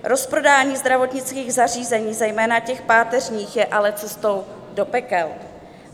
Rozprodání zdravotnických zařízení, zejména těch páteřních, je ale cestou do pekel.